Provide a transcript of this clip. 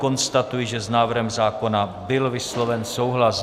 Konstatuji, že s návrhem zákona byl vysloven souhlas.